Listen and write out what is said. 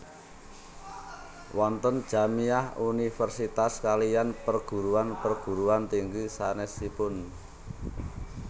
Wonten Jamiah Universitas kaliyan perguruan perguruan tinggi sanesipun